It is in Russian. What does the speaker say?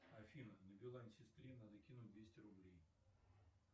афина на билайн сестре надо кинуть двести рублей